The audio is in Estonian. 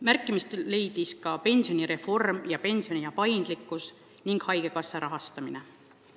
Märkimist leidsid ka pensionireform ja paindlikkus pensionile mineku üle otsustamisel ning haigekassa rahastamine.